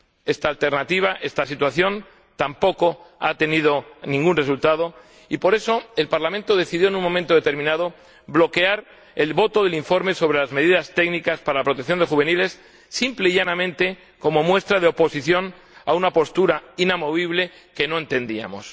Esta alternativa, esta situación, tampoco ha tenido ningún resultado y, por eso, el Parlamento decidió en un momento determinado bloquear la votación del informe delas medidas técnicas de protección de los juveniles, simple y llanamente como muestra de oposición a una postura inamovible que no entendíamos.